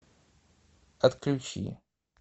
отключи